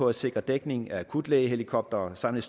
at sikre dækning af akutlægehelikoptere samt